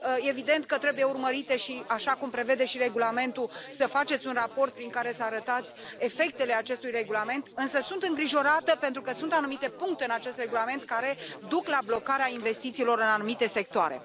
Evident că trebuie urmărite și așa cum prevede și regulamentul să faceți un raport prin care să arătați efectele acestui regulament, însă sunt îngrijorată, pentru că sunt anumite puncte în acest regulament care duc la blocarea investițiilor în anumite sectoare.